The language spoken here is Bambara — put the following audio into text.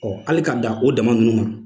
hali k'a dan o dama ninnu ma